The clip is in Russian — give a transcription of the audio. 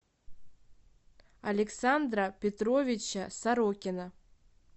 александра петровича сорокина